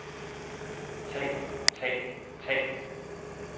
tag tag tag